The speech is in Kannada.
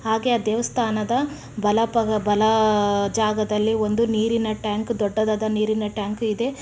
ಹಾಗೆ ಆ ದೇವಸ್ಥಾನದ ಬಲ ಪ ಬಲ ಆ-- ಜಾಗದಲ್ಲಿ ಒಂದು ನೀರಿನ ಟ್ಯಾಂಕ್ ದೊಡ್ಡದಾದ ನೀರಿನ ಟ್ಯಾಂಕ್ ಇದೆ.